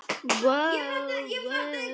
Ekki var það lengi gert.